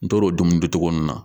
N tor'o dumuni dun cogo mun na